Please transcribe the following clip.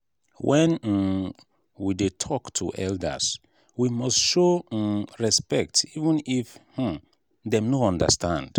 when um we dey talk to elders we must show um respect even if um dem no understand.